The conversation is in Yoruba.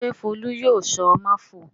Ṣé Folú yóò sọ "máfọ̀ọ́"?